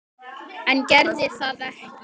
En gerði það ekki.